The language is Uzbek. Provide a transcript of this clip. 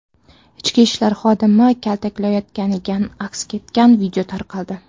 Ichki ishlar xodimi kaltaklanayotgani aks etgan video tarqaldi.